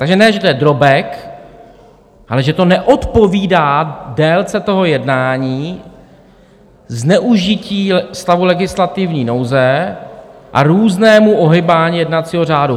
Takže ne že to je drobek, ale že to neodpovídá délce toho jednání, zneužití stavu legislativní nouze a různému ohýbání jednacího řádu.